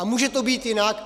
A může to být jinak.